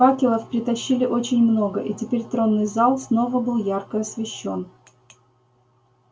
факелов притащили очень много и теперь тронный зал снова был ярко освещён